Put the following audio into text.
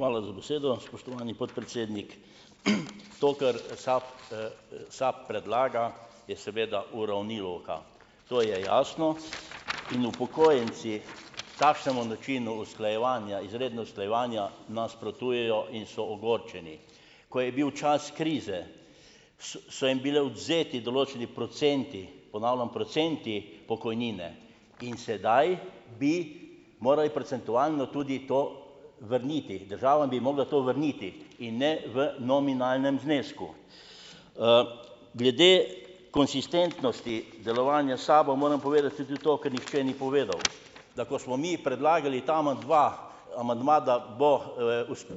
Hvala za besedo, spoštovani podpredsednik. To, kar, SAP, SAP predlaga, je seveda uravnilovka - to je jasno - in upokojenci takšnemu načinu usklajevanja, izredno usklajevanje, nasprotujejo in so ogorčeni. Ko je bil čas krize, so jim bile odvzeti določeni procenti, ponavljam, procenti pokojnine in sedaj bi morali procentualno tudi to vrniti, država bi jim mogla to vrniti in ne v nominalnem znesku. glede konsistentnosti delovanja SAB-a moram povedati tudi to, ke nihče ni povedal, da ko smo mi predlagali ta amandma, amandma, da bo,